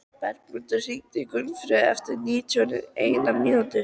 Bergmundur, hringdu í Gunnfríði eftir níutíu og eina mínútur.